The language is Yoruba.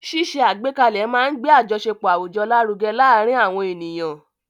Ṣíṣe àgbékalẹ̀ máa ń gbé àjọṣepọ̀ àwùjọ lárugẹ láàárín àwọn ènìyàn.